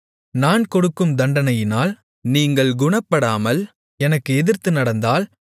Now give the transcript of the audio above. நான் கொடுக்கும் தண்டனையினால் நீங்கள் குணப்படாமல் எனக்கு எதிர்த்து நடந்தால்